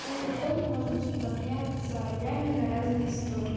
думаю потом мы можем типа там меняются ролями на разные истории